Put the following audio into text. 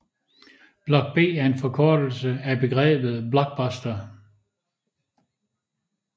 Block B er en forkortelse af begrebet Blockbuster